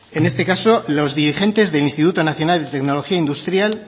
en este caso los dirigentes del instituto nacional de tecnología industrial